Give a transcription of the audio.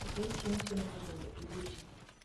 dhi e chieng chenro mondo iruchi